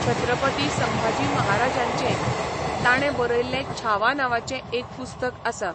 छत्रपती संभाजी महाराजाचें, ताणें बरयल्लें छावा नांवाचें एक पुस्तक आसा.